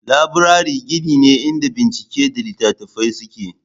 Laburare gini ne inda bincike da littattafai suke.